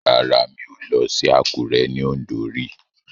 Rárá mi ò lọ sí Àkúré ní Ọ̀ǹdó rí